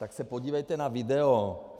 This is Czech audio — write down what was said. Tak se podívejte na video.